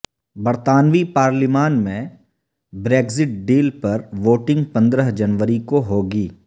برطانوی پارلیمان میں بریگزٹ ڈیل پر ووٹنگ پندرہ جنوری کو ہو گی